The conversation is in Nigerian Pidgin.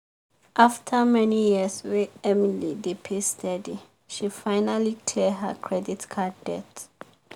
after many years wey emily dey pay steady she finally clear her credit card debt.